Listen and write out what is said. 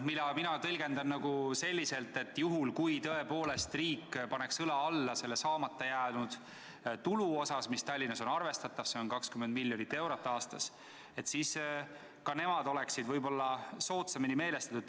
Mina tõlgendan seda selliselt, et juhul kui tõepoolest riik paneks õla alla selle saamata jääva tulu kompenseerimisel – Tallinnas on see summa arvestatav, see on 20 miljonit eurot aastas –, siis linn oleks võib-olla soodsamini meelestatud.